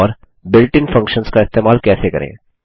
और built in functions का इस्तेमाल कैसे करें